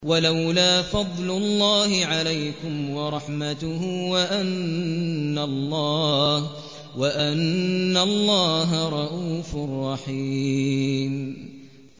وَلَوْلَا فَضْلُ اللَّهِ عَلَيْكُمْ وَرَحْمَتُهُ وَأَنَّ اللَّهَ رَءُوفٌ رَّحِيمٌ